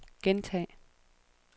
gentag